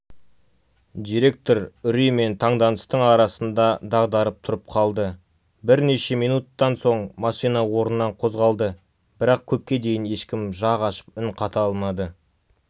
директор үрей мен таңданыстың арасында дағдарып тұрып қалды бірнеше минуттан соң машина орнынан қозғалды бірақ көпке дейін ешкім жақ ашып үн қата алмады